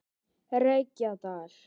Reykjadal